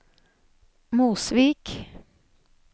Mosvik